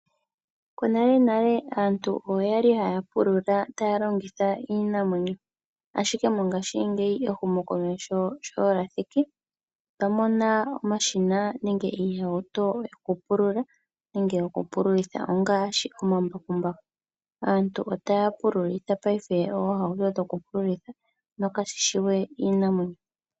Konale nale aantu okwali haya pulula taya longitha iinamwenyo, ashike mongashingeyi ehumokomeho osho dja thiki otwa mona omashina nenge iihauto yokupulula nenge okupululitha ongaashi omambakumbaku. Aantu otaya pululitha paife oohauto dhoku pululitha nokashi shiwe iinamwenyo.